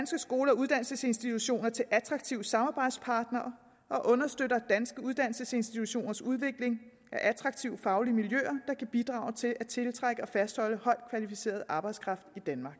skoler og uddannelsesinstitutioner til attraktive samarbejdspartnere og understøtter danske uddannelsesinstitutioners udvikling af attraktive faglige miljøer der bidrage til at tiltrække og fastholde højt kvalificeret arbejdskraft i danmark